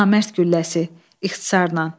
Namərd gülləsi, ixtisarla.